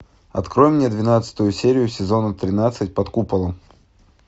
открой мне двенадцатую серию сезона тринадцать под куполом